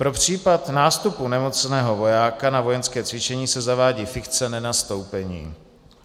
Pro případ nástupu nemocného vojáka na vojenské cvičení se zavádí fikce nenastoupení.